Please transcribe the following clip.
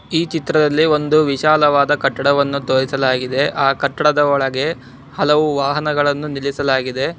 ಈ ಚಿತ್ರದಲ್ಲಿ ಒಂದು ವಿಶಾಲವಾದ ಕಟ್ಟಡವನ್ನು ತೊರಿಸಲಾಗಿದೆ ಆ ಕಟ್ಟಡದ ಒಳಗೆ ಹಲವು ವಾಹನಗಳನ್ನು ನಿಲ್ಲಿಸಲಾದೆ.